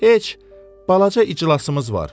Heç, balaca iclasımız var.